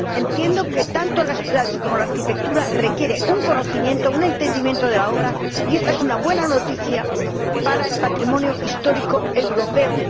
Entiendo que tanto las ciudades como la arquitectura requieren un conocimiento, un entendimiento de la obra, y esta es una buena noticia para el patrimonio histórico europeo.